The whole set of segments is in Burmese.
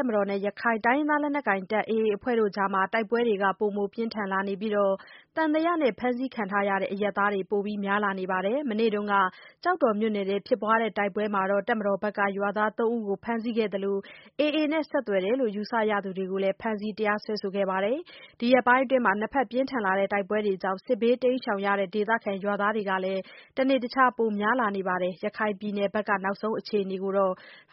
ပ်မတော်နဲ့ ရခိုင်လက်နက်ကိုင် AA အဖွဲ့ အကြား တိုက်ပွဲတွေ ပိုမိုပြင်းထန်လာနေသလို၊ သံသယနဲ့ ဖမ်းဆီးခံရတဲ့ အရပ်သားတွေလည်း ပိုပြီး များလာနေပါတယ်။ မနေ့က ကျောက်တော်မြို့နယ်အတွင်း ဖြစ် ပွါးတဲ့တိုက်ပွဲမှာ တပ်မတော်ကနေ ရွာသား (၃)ဦး အဖမ်းဆီးခံရသလို AA နဲ့ဆက်သွယ်တယ်လို့ ယူဆရသူတွေကိုလဲ ဖမ်းဆီး တရားစွဲဆိုခဲ့ပါတယ်။ ဒီရက်ပိုင်းအတွင်း နှစ်ဖက်ပြင်းထန်လာတဲ့ တိုက်ပွဲတွေကြောင့် စစ်ဘေးတိမ်းရှောင်ရတဲ့ ဒေသခံ ရွာသားတွေကလည်း တနေ့တခြား ပိုများလာနေပါတယ်။ ရခိုင်ပြည်နယ်ဘက်က နောက်ဆုံးအခြေအနေကို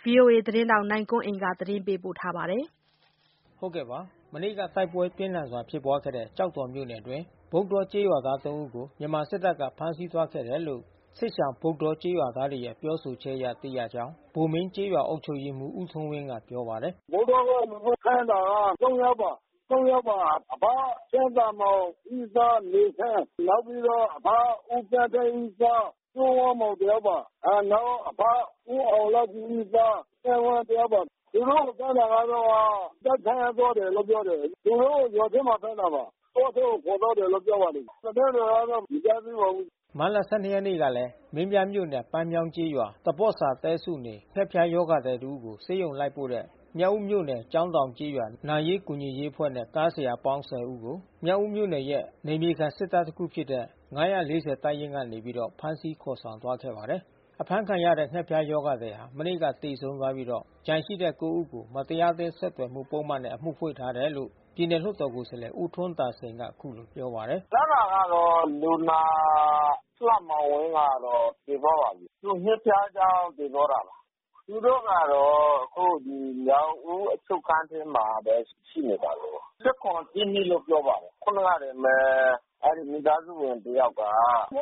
ဗွီအိုအေ ထိုင်းအခြေစိုက် သတင်းထောက်နိုင်ကွန်းအိန်က သတင်းပေးပို့ထားပါတယ်။ မနေ့က တိုက်ပွဲပြင်းထန်စွာဖြစ်ပွားခဲ့တဲ့ ကျောက်တော်မြို့နယ်အတွင်း ဗုဒ္ဓေါကျေးရွာသား(၃)ဦးကို မြန်မာစစ်တပ်က ဖမ်းဆီးသွားခဲ့တယ်လို့ စစ်ရှောင်ဗုဒ္ဓေါ ကျေးရွာသားတွေရဲ့ပြောဆိုချက်အရ သိရကြောင်း ဗိုလ်မင်းကျေးရွာအုပ်ချုပ် ရေးမှူး ဦးထွန်းဝင်းက ပြောပါတယ်။ “ဗုဒ္ဓေါက လူဖမ်းတာက(၃)ယောက်ပါ။ အဘ ဦးဆန်းမောင်သား နေဆန်း နောက်ပြီးတော့အဘ ဦးသန်းသိန်း သား စိုးဝင်းမောင်တယောက်ပါ။ နောက် အဘဦးအောင်လှဖြူရဲ့သား သန်းဝင်းတယောက်ပါ။ သူတို့ကိုဖမ်းတာက တပ်က ဖမ်းသွားတယ်လို့ပြောတယ်။ သူတို့ကို ရွာထဲမှာဖမ်းတာပါ။ တောထဲကိုခေါ်သွားပါတယ်လို့ပြောပါတယ်။ သတင်းတွေ ကတော့မကြားသေးပါဘူး။” မတ်လ (၁၂) ရက်နေ့ကလည်း မင်းပြားမြို့နယ်၊ ပန်းမြောင်းကျေးရွာ၊ သပေါ့စာတဲစုနေ ငှက်ဖျား ရောဂါသည်တဦးကို ဆေးရုံလိုက်ပို့တဲ့ မြောက်ဦးမြို့နယ် ကျောင်းတောင်ကျေးရွာ နာရေးကူညီရေးအဖွဲ့နဲ့ ကားဆရာအပေါင်း(၁၀)ဦးကို မြောက်ဦးမြို့နယ်ရဲ့ နယ်မြေခံစစ်တပ်တခုဖြစ်တဲ့ (၅၄၀) တပ်ရင်းကနေပြီးတော့ ဖမ်းဆီး ခေါ်ဆောင်သွားခဲ့ပါတယ်။ အဖမ်းခံရတဲ့ ငှက်ဖျားရောဂါသည်ဟာ မနေ့ကသေဆုံးသွားပြီးတော့ ကျန်တဲ့(၉)ဦးကို မတရားအသင်း ဆက်သွယ်မှု ပုဒ်မနဲ့ အမှုဖွင့်ထားတယ်လို့ ပြည်နယ်လွှတ်တော် ကိုယ်စားလှယ် ဦးထွန်းသာစိန်က အခုလိုပြောပါတယ်။ “ဖမ်းတာကတော့ လူနာလှမောင်ဝင်းကတော့ သေသွားပါပြီ။ သူငှက်ဖျားကြောင့်သေသွားတာပါ။ သူတို့ကတော့ မြောက်ဦးအချုပ်ခန်းထဲမှာဘဲ ရှိနေပါတယ်။ ၁၇/(၁) (၂)လို့ပြောပါတယ်။ ခုနကတင်ဘဲ အဲဒီ မိသားစုဝင်တယောက်က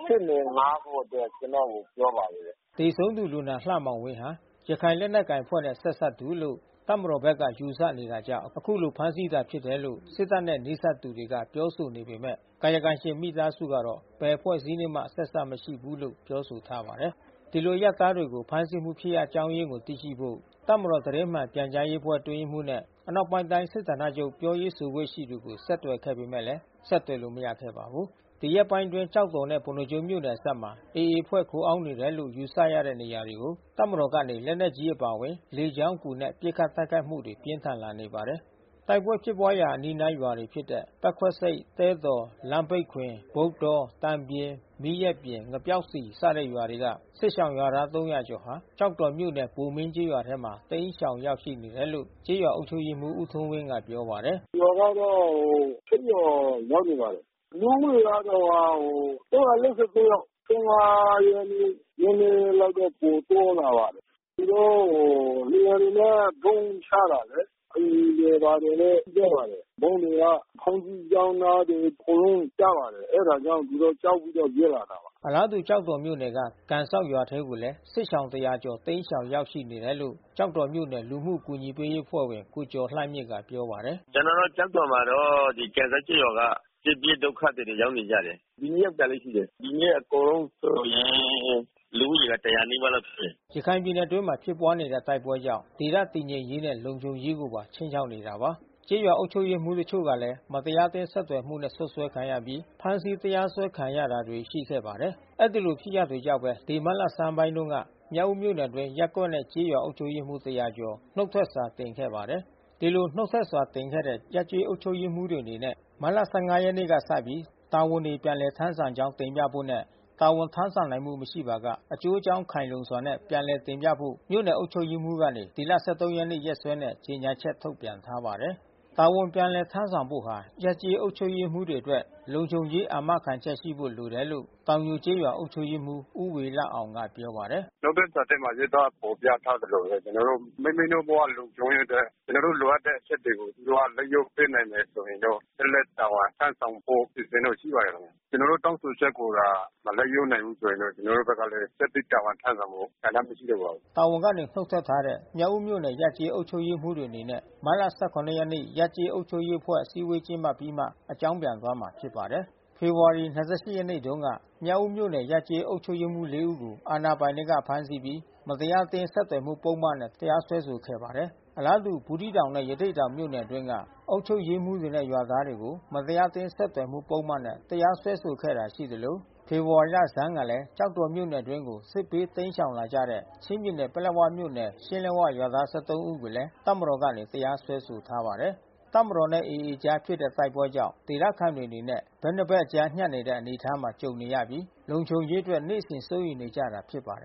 ရှေ့နေငှါးဖို့အတွက် ကျနော်ကို ပြောပါတယ်။” သေဆုံးသူလူနာ လှမောင်ဝင်းဟာ ရခိုင်လက်နက်ကိုင်အဖွဲ့နဲ့ ဆက်စပ်သူလို့ တပ်မတော်ဘက်က ယူဆနေတာ ကြောင့် အခုလိုဖမ်းဆီးတာဖြစ်တယ်လို့ စစ်တပ်နဲ့ နီးစပ်သူတွေက ပြောဆိုနေပေမဲ့ ကာယကံရှင်မိသားစုကတော့ ဘယ်အဖွဲ့အစည်းနဲ့ ဆက်စပ်မှုမရှိဘူးလို့ ပြောဆိုထားပါတယ်။ ဒီလို အရပ်သားတွေကို ဖမ်းဆီးမှု ဖြစ်ရပ်အကြောင်းရင်းကိုသိရှိဖို့ တပ်မတော် သတင်းမှန်ပြန်ကြားရေးအဖွဲ့ အတွင်း ရေး မှူးနဲ့ အနောက်ပိုင်းတိုင်း စစ်ဌာနချုပ်ပြောရေး ဆိုခွင့်ကို ဆက်သွယ်ခဲ့ပေမဲ့ ဆက်သွယ်လို့ မရခဲ့ပါဘူး။ ဒီရက်ပိုင်းအတွင်း ကျောက်တော်နဲ့ ပုဏ္ဏားကျွန်းမြို့နယ်အစပ်မှာ AA အဖွဲ့ ခိုအောင်းနေတယ်လို့ ယူဆရတဲ့နေရာ တွေကို တပ်မတော်ကနေ လက်နက်ကြီး အပါအဝင် လေကြောင်းအကူနဲ့ ပစ်ခတ်တိုက်ခိုက်မှုတွေ ပြင်းထန်လာ နေပါတယ်။ တိုက်ပွဲဖြစ်ပွါးရာ အနီးနားရွာတွေဖြစ်တဲ့ ပက်ခွပ်ဆိပ် သဲတော် လမ်းပိတ်ခွင် ဗုဒ္ဓေါ သံပြင် မီးရက်ပြင် ငပြောက်စည် စတဲ့ရွာတွေက စစ်ရှောင်ရွာသား (၃၀၀)ကျော် ကျောက်တော်မြို့နယ် ဗိုလ်မင်းကျေးရွာထဲမှာ တိမ်းရှောင်ရောက်နေ တယ်လို့ ကျေးရွာအုပ်ချုပ်ရေးမှူး ဦးထွန်းဝင်း ကပြောပါတယ်။ “ရွာကတော့ (၈) ရွာ ရောက်နေပါတယ်။ လူဦးရေ ကတော့ (၃၄၉) ယောက်။ (၁၅) ရက်နေ့မှာ နဲနဲလောက် ပိုတိုးလာပါတယ်။ သူတို့ကို လေယာဉ်တွေနဲ့ ဗုံးချတာလေ။ အိမ်တွေဘာတွေလဲ ပျက်ပါတယ်။ ဗုံးတွေက ဘုန်ကြီးကျောင်း အနားမှာ အကုန်လုံးကျပါတယ်။ အဲတာကြောင့် သူတို့ ကြောက်ပြီးတော့ပြေးလာတာ။ ” အလားတူ ကျောက်တော်မြို့နယ်က ကန်စောင့်ရွာထဲကိုလည်း စစ်ရှောင် (၁၀၀)ကျော် တိမ်းရှောင်ရောက်ရှိနေတယ်လို့ ကျောက်တော်မြို့နယ် လူမှုအကူညီပေး အဖွဲ့ဝင် ကိုကျော်လှမြင့်က ပြောပါတယ်။ “ကျွန်တော်တို့ကျောက်တော်မှာတော့ ကန်စောက်ကျေးရွာက စစ်ပြေးဒုက္ခသည်တွေ ရောက်နေကြတယ်။ ဒီနေ့ ရောက်တာလည်း ရှိတယ်။ ဒီနေ့အကုန်လုံးဆိုရင် လူဦးရေက(၁၀၀)နီးပါးလောက်ရှိတယ်။” ရခိုင်ပြည်နယ်အတွင်း ဖြစ်ပွါးနေတဲ့ တိုက်ပွဲတွေကြောင့် ဒေသတည်ငြိမ်ရေးနဲ့ လုံခြုံရေးကို ခြိမ်းခြောက်နေတာပါ။ ကျေးရွာအုပ်ချုပ်ရေးမှူး တချို့လည်း မတရားအသင်းဆက်သွယ်မှုနဲ့ စွပ်စွဲခံရပြီး ဖမ်းဆီး တရားစွဲခံရတာတွေ ရှိခဲ့ပါတယ်။ အဲဒီလို ဖြစ်ရပ်တွေကြောင့်ပဲ ဒီမတ်လဆန်းပိုင်းက မြောက်ဦးမြို့နယ်အတွင်း ရပ်ကွက်နဲ့ ကျေးရွာ အုပ်ချုပ်ရေးမှူး (၁၀၀)ကျော် နှုတ်ထွက် စာတင်ခဲ့ပါတယ်။ ဒီလို နှုတ်ထွက်စာတင်ခဲ့တဲ့ ရပ်ကျေး အုပ်ချုပ်ရေးမှူးတွေ အနေနဲ့ မတ်လ ၁၅ ရက်နေ့ကစပြီး တာဝန်တွေပြန်လည် ထမ်းဆောင်ကြောင်း တင်ပြ ဖို့နဲ့ တာဝန်ထမ်းဆောင်နိုင်မှု မရှိပါက အကျိုးအကြောင်း ခိုင်လုံစွာနဲ့ ပြန်လည် တင်ပြဖို့ မြို့နယ်အုပ်ချုပ်ရေးမှူး ကနေဒီလ(၁၃)ရက်နေ့ ရက်စွဲနဲ့ ကြေညာချက် ထုတ်ပြန်ထားပါတယ်။ တာဝန်ပြန်လည် ထမ်းဆောင်ဖို့ဟာ ရပ်ကျေး အုပ်ချုပ်ရေးမှူးတွေအတွက် လုံခြုံရေးအာမခံရှိဖို့ လိုအပ်တယ်လို့ တောင်ညိုကျေးရွာ အုပ်ချုပ်ရေးမှူး ဦးဝေလအောင်က ပြောပါတယ်။ “နှုတ်ထွက်စာထဲမှာ ရေးသားဖေါ်ပြထားသလိုဘဲ ကျွန်တော်တို့ မိမိတို့ ဘဝလုံခြုံရေးအတွက် ကျွန်တော်တို့ လိုအပ်တဲ့ အချက်တွေကို သူတို့က လိုက်လျောပေးနိုင်ရင်တော့ ဆက်လက် တာဝန်ထမ်းဆောင်ဖို့ အစီအစဉ်တော့ ရှိပါတယ် ခင်ဗျ။ ကျွန်တော်တို့ တောင်းဆိုချက်ကိုသာ မလိုက်လျောနိုင်ဘူး ဆိုရင်တော့ ကျွန်တော်တို့ဘက်ကလဲ ဆက်ပြီး တာဝန် ထမ်းဆောင်ဖို့ ဆန္ဒမရှိတော့ပါဘူး။” တာဝန်ကနေ နှုတ်ထွက်ထားတဲ့ မြောက်ဦးမြို့ နယ်ရပ်ကျေး အုပ်ချုပ်ရေးမှူးအနေနဲ့ မတ်လ ၁၇ ရက်နေ့ ရပ်ကျေး အုပ်ချုပ်ရေးအဖွဲ့ အစည်းဝေးကျင်းပပြီးမှ အကြောင်းပြန် သွားမှာဖြစ်ပါတယ်။ ဖေဖေါ်ဝါရီ (၂၈) ရက်နေ့တုန်းက မြောက်ဦးမြို့ နယ်ရပ်ကျေးအုပ်ချုပ်ရေးမှူး ၄ ဦးကို အာဏာပိုင်တွေက ဖမ်းဆီးပြီး မတရားအသင်း ဆက်သွယ်မှုပုဒ်မနဲ့ တရားစွဲဆိုခဲ့ပါတယ်။ အလားတူ ဘူးသီးတောင်နဲ့ ရသေ့တောင်မြို့နယ် အတွင်းက အုပ်ချုပ်ရေးမှူးတွေနဲ့ ရွာသားတွေကို မတရားအသင်း ဆက်သွယ်မှု ပုဒ်မနဲ့ တရားစွဲဆိုခဲ့တာ ရှိနေသလို ဖေဖေါ်ဝါရီလဆန်းကလဲ ကျောက်တော်မြို့ အတွင်းကို စစ်ပြေးတိမ်း ရှောင်လာကြတဲ့ ချင်းပြည်နယ် ပလက်ဝမြို့ နယ် ရှင်းလက်၀ ရွာသား (၁၃) ဦးကိုလဲ တပ်မတော်ကနေ တရားစွဲဆို ထားပါတယ်။ တပ်မတော်နဲ့AAအကြားဖြစ်တဲ့တိုက်ပွဲကြောင့် ဒေသခံတွေအနေနဲ့ ဘက်နှစ်ဘက်အကြားညှပ်နေတဲ့ အနေအထားမှာ ကြုံနေရပြီး လုံခြုံရေးအတွက် နေ့စဉ် စိုးရိမ်နေကြရတာ ဖြစ်ပါတယ်